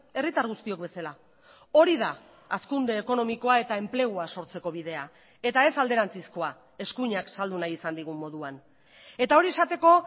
herritar guztiok bezala hori da hazkunde ekonomikoa eta enplegua sortzeko bidea eta ez alderantzizkoa eskuinak saldu nahi izan digun moduan eta hori esateko